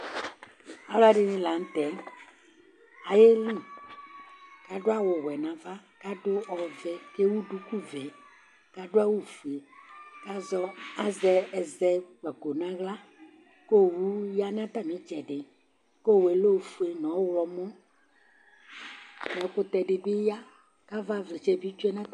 Alʊɛɖɩŋɩ la ŋʊtɛ aƴéli , aɖʊ awʊ wɛ nava ƙaɖʊ ɔʋɛ ƙéwu aɖʊƙʊ ʋɛ, ƙaɖʊ awu ƒoé, ƙazɛ ɛzɛƙpako ŋahla, ƙʊ owu ƴa ŋu tamitseɖi Ƙu owʊ lɛ ofoé nu ɔwlɔmɔ Ɛƙutɛ ɖibɩ ƴa Kaʋa ʋlɩtsɛ ɓi tsoé